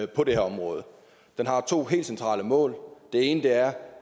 på det her område den har to helt centrale mål det ene er